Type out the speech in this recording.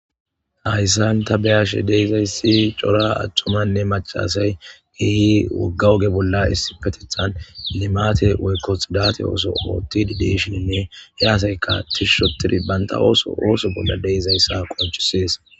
hayssan ta beyashe deizayssi cora aththumanne machasay geeyi wogga oge bolla issi petethan limate woykkotsidati ooso ootti dideshininne he asayka tishshotiri baynta ooso ooso bolla deizayssa qonchisees